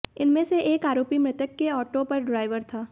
इनमें से एक आरोपी मृतक के ऑटो पर ड्राइवर था